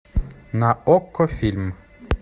на окко фильм